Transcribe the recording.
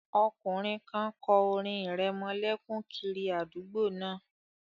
Ọkùnrin kan kọ orin ìrẹmọlẹ́kún kiri àdúgbò náà